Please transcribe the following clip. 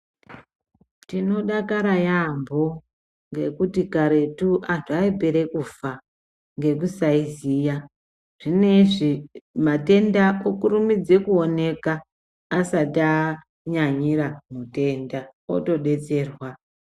Tinodakara yaambo ngekuti karetu antu aipere kufa ngekusaiziya. Zvine izvi matenda okurumidze kuoneka asati anyanyira mutenda otobetserwa.